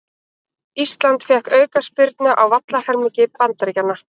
Ísland fékk aukaspyrnu á vallarhelmingi Bandaríkjanna